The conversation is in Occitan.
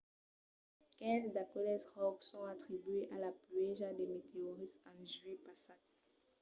quinze d’aqueles ròcs son atribuïts a la pluèja de meteorits en julhet passat